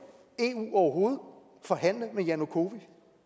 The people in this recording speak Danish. overhovedet forhandle med janukovitj